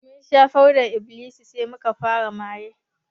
Mun sha fodar -iblis sai muka fara maye